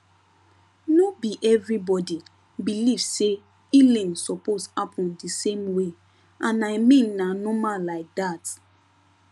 no be everybody believe say healing suppose happen the same way and i mean na normal like that